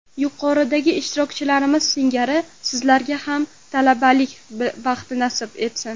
Yuqoridagi ishtirokchilarimiz singari sizlarga ham talabalik baxti nasib etsin.